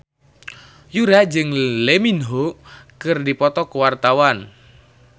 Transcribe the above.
Yura jeung Lee Min Ho keur dipoto ku wartawan